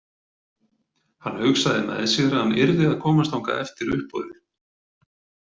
Hann hugsaði með sér að hann yrði að komast þangað eftir uppboðið.